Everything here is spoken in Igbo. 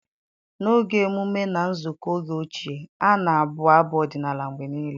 N'oge emume na nzukọ oge ochie, a na-abụ abụ odinala mgbe niile.